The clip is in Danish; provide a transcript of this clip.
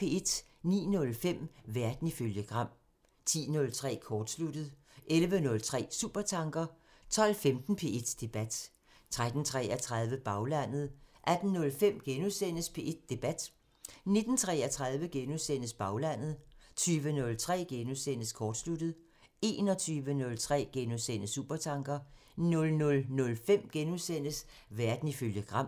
09:05: Verden ifølge Gram (tir) 10:03: Kortsluttet (tir) 11:03: Supertanker (tir) 12:15: P1 Debat (tir-tor) 13:33: Baglandet (tir) 18:05: P1 Debat *(tir-tor) 19:33: Baglandet *(tir) 20:03: Kortsluttet *(tir) 21:03: Supertanker *(tir) 00:05: Verden ifølge Gram *(tir)